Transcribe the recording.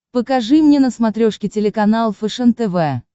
покажи мне на смотрешке телеканал фэшен тв